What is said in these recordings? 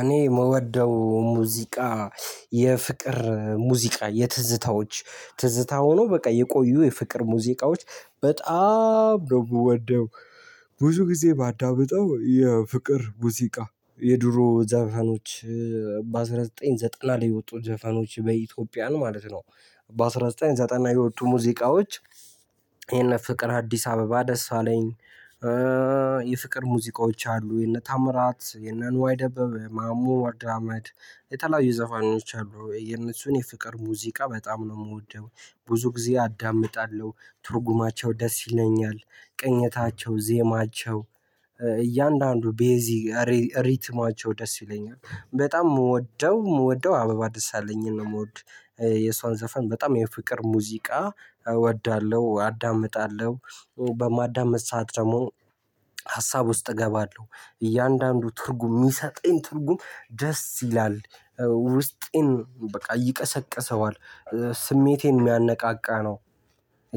እኔ የምወደው ሙዚቃ የፍቅር ሙዚቃ፣ የትዝታዎች ትዝታ ሆኖ በቃ የቆዩ የፍቅር ሙዚቃዎች በጣም ነው የምወደው። ብዙ ጊዜ ማዳምጠው የፍቅር ሙዚቃ፣ የድሮ ዘፈኖች በአንድ ሺህ ዘጠኝ መቶ ዘጠና ላይ የወጡ ዘፈኖች በኢትዮጵያን ማለት ነው በአንድ ሺህ ዘጠኝ መቶ ዘጠና የወጡ ሙዚቃዎች የነ ፍቅርአዲስ አበባ ደሳለኝ የፍቅር ሙዚቃዎች አሉ። የነ ታምራት፣ የነ ንዋይ ደበብ፣ ማሙድ አመድ የተለያዩ ዘፋኖች አሉ። የእነሱን የፍቅር ሙዚቃ በጣም ነው የምወደው፤ ብዙ ጊዜ አዳምጣለሁ፤ ትርጉማቸው ደስ ይለኛል፤ ቅኝታቸው፣ ዜማቸው እያንዳንዱ ቤዚ ሪትማቸው ደስ ይለኛል። በጣም የምወደው የምወደው አበባ ደሳለኝ ነው የምወድ። የሷን ዘፈን በጣም የፍቅር ሙዚቃ እወዳለሁ፣ አዳምጣለሁ በማዳመጥ ሰዓት ደግሞ ሀሳብ ውስጥ እገባለሁ። እያንዳንዱ ትርጉም የሚሰጠኝ ትርጉም ደስ ይላል ውስጤን በቃ ይቀሰቅሰዋል። ስሜቴን የሚያነቃቃ ነው።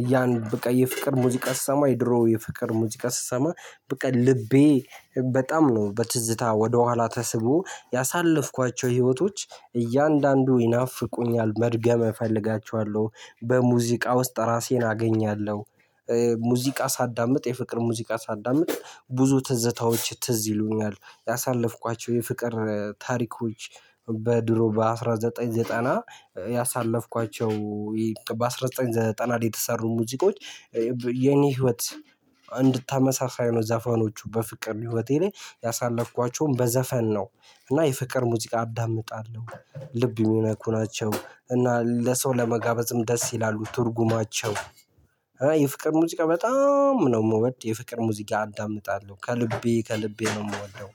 እያን በቃ የፍቅር ሙዚቃ ስሰማ፤ የድሮ የፍቅር ሙዚቃ ስሰማ፤ በቃ ልቤ በጣም ነው በትዝታ ወደኋላ ተስቦ ያሳለፍኳቸው ህይወቶች እያንዳንዱ ይናፍቁኛል፤ መድገም እፈልጋቸዋለሁ፤ በሙዚቃ ውስጥ ራሴን አገኛለሁ ሙዚቃ ሳዳምጥ፣ የፍቅር ሙዚቃ ሳዳምጥ ብዙ ትዝታዎች ትዝ ይሉኛል፤ ያሳለፍኳቸው የፍቅር ታሪኮች በድሮ በአንድ ሺህ ዘጠኝ መቶ ዘጠና ያሳለፍኳቸው፤ በአንድ ሺህ ዘጠኝ መቶ ዘጠና የተሰሩ ሙዚቆች የኔ ህይወት እንድታመስ ነው ዘፈኖቹ በፍቅር ህይወቴ ላይ ያሳለፍኳቸውን በዘፈን ነው፤ እና የፍቅር ሙዚቃ አዳምጣለሁ፤ ልብ የሚነኩ ናቸው፤ እና ለሰው ለመጋበዝም ደስ ይላሉ ትርጉማቸው የፍቅር ሙዚቃ በጣም! ነው የምወድ፤ የፍቅር ሙዚቃ አዳምጣለሁ ከልቤ ከልቤ ነው የምወደው።